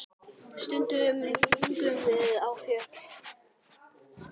Stundum gengum við á fjöll.